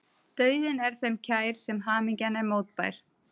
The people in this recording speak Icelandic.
Dauðinn er þeim kær sem hamingjan er mótbær.